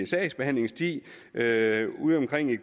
sagsbehandlingstid er er udeomkring i